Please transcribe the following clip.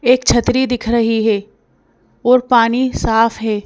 एक छतरी दिख रही है और पानी साफ है।